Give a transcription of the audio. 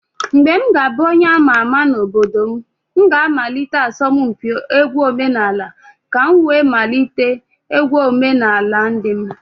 When I will become a prominent person in my community, I will organize a folk song competition in order to revive the tradition of my people